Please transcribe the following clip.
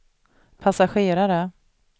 passagerare